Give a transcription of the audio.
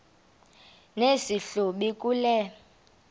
nesi hlubi kule